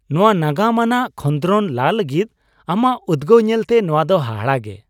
ᱱᱚᱶᱟ ᱱᱟᱜᱟᱢ ᱟᱱᱟᱜ ᱠᱷᱚᱸᱫᱨᱚᱱ ᱞᱟ ᱞᱟᱹᱜᱤᱫ ᱟᱢᱟᱜ ᱩᱫᱜᱟᱹᱣ ᱧᱮᱞᱛᱮ ᱱᱚᱣᱟ ᱫᱚ ᱦᱟᱦᱟᱲᱟ ᱜᱮ !